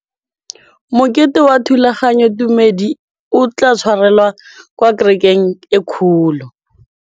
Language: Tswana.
Mokete wa thulaganyôtumêdi o tla tshwarelwa kwa kerekeng e kgolo.